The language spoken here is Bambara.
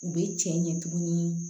U bɛ cɛ ɲɛ tuguni